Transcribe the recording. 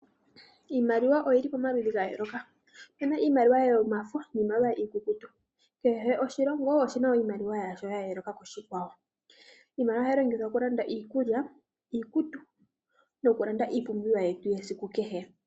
Iimaliwa oyili pamaludhi ga yooloka. Opuna iimaliwa yomafo, niimaliwa iikukutu. Kehe oshilongo iimaliwa yasho ya yooloka ku shikwawo. Iimaliwa ohayi longithwa okulanda iikulya, iikutu, nokulanda iipumbiwa yetu yesiku kehe.